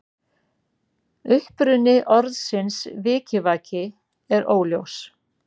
Uppruni orðsins vikivaki er óljós.